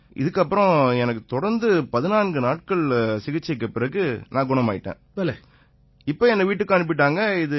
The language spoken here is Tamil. இதன் பிறகு தொடர்ந்து 14 நாட்கள் சிகிச்சைக்குப் பிறகு நான் குணமாயிட்டேன் இப்ப என்னை வீட்டுக்கும் அனுப்பிட்டாங்க